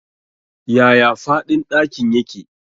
Yaya faɗin ɗakin yake?